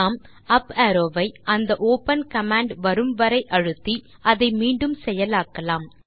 நாம் up arrow வை அந்த ஒப்பன் கமாண்ட் வரும் வரை அழுத்தி அதை மீண்டும் செயலாக்கலாம்